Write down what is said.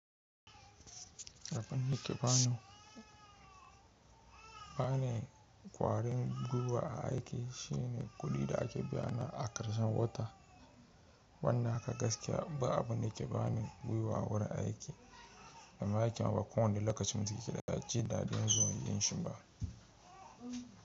Abun yake ba ne, bane kwarin gwiwa a aiki shine kuɗi da ake biyana a karshen wata. Wannan haka gaskiya ba abunda ke ba ne gwiwa wurin aiki, ammai aikimma ba ko wanda lokacin mutum da keda jin daɗin zuwa yin shumba.